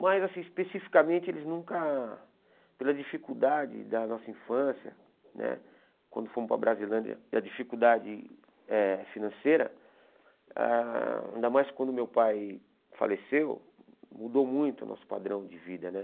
Mas, assim especificamente, eles nunca... Pela dificuldade da nossa infância né, quando fomos para a Brasilândia, a dificuldade eh financeira, ah ainda mais quando meu pai faleceu, mudou muito o nosso padrão de vida né.